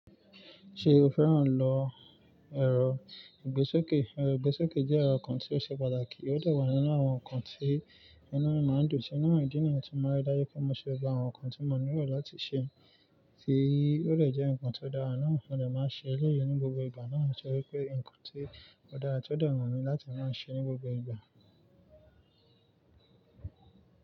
Ṣe o fẹ́ràn lọ ẹ̀rọ ìgbésókè? Ẹ̀rọ ìgbésókè jẹ́ ẹ̀rọ kan tí o ṣe pàtàkì, o dẹ̀ wà nínú àwọn nǹkan tí inú mi máa ń dùn sí. Náà ni ìdí nìyẹn tí mo rí dájú pé mo ṣe gbogbo awọ́n nnkan tí mo nílò láti ṣe, tí ó lè jẹ́ nnkan tí ó dára náà. Mo dè máa ń ṣe elẹ́yìi ní gbogbo ìgbà náà nitori wípé nnkan tí ó dára tí ó de wumi láti máa ń ṣe ní gbogbo ìgbà.